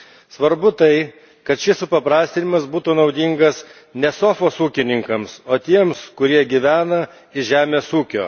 Svarbu tai, kad šis supaprastinimas būtų naudingas ne sofos ūkininkams, o tiems, kurie gyvena iš žemės ūkio.